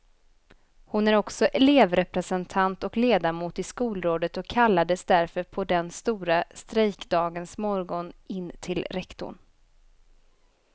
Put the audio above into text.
Hon är också elevrepresentant och ledamot i skolrådet och kallades därför på den stora strejkdagens morgon in till rektorn.